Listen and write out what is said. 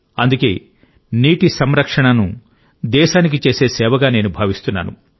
అందుకే నీటి సంరక్షణను దేశానికి చేసే సేవగా నేను భావిస్తున్నాను